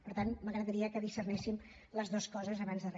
per tant m’agradaria que discerníssim les dues coses abans de re